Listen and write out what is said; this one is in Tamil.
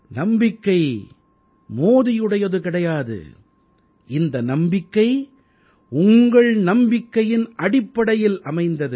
நம்பிக்கை மோதியுடையது கிடையாது இந்த நம்பிக்கை உங்கள் நம்பிக்கையின் அடிப்படையில் அமைந்தது